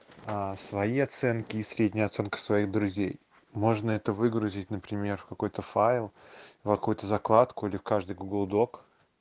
а свои оценки и среднюю оценка своих друзей можно это выгрузить например в какой-то файл в какой-то закладку или каждый гугл док